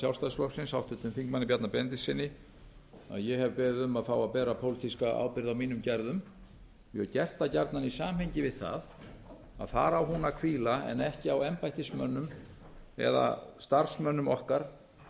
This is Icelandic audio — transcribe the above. sjálfstæðisflokksins háttvirts þingmanns bjarna benediktssyni að ég hef beðið um að fá að bera pólitíska ábyrgð á mínum gerðum ég hef gert það gjarnan í samhengi við það að þar á hún að hvíla en ekki á embættismönnum eða starfsmönnum okkar